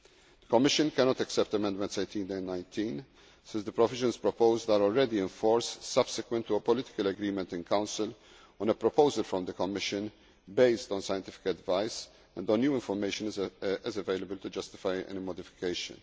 The Commission cannot accept Amendments 18 and 19, since the provisions proposed are already in force, subsequent to a political agreement in Council on a proposal from the Commission based on scientific advice, and no new information is available to justify any modification.